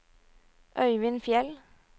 Øivind Fjeld